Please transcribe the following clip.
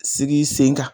Sigi sen kan